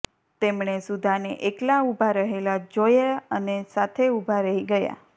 તેમણે સુધાને એકલા ઉભા રહેલા જોયા અને સાથે ઉભા રહી ગયા